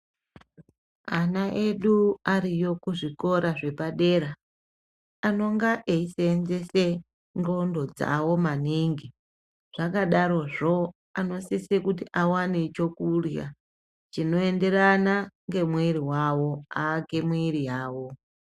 Ana edu ariyo kuzvikora zvepadera anonga eisenzesa ngonxo dzawo maningi zvakadarozvo anosisa kuti awane chekurya chinoenderana nemwiri wavo aake mwiri yawo.